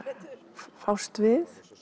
fást við